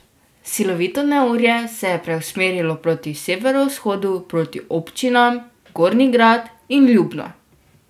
Silovito neurje se je preusmerilo proti severovzhodu, proti občinam Gornji Grad in Ljubno.